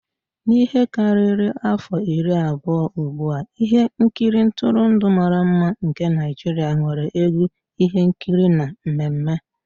N'ihe karịrị afọ iri abụọ ugbu a, ihe nkiri ntụrụndụ mara mma nke Naijiria nwere egwu, ihe nkiri na mmemme.